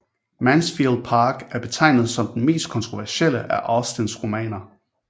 Mansfield Park er betegnet som den mest kontroversielle af Austens romaner